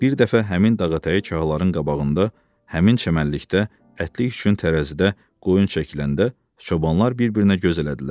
Bir dəfə həmin dağətəyi çağaların qabağında, həmin çəmənlikdə ətlik üçün tərəzidə qoyun çəkiləndə, çobanlar bir-birinə göz elədilər.